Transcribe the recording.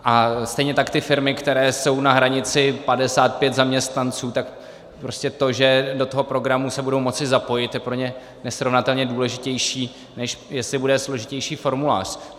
A stejně tak ty firmy, které jsou na hranici 55 zaměstnanců, tak prostě to, že do toho programu se budou moci zapojit, je pro ně nesrovnatelně důležitější, než jestli bude složitější formulář.